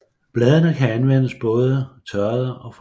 Bladene kan anvendes både tørrede og friske